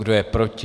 Kdo je proti?